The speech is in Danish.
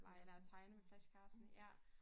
Plejer at tegne med flashcardsne ja